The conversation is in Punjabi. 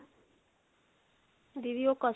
ਦੀਦੀ ਉਹ customer